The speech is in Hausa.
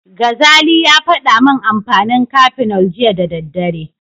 Gazali ya faɗa min amfanin Cafenol jiya da daddare.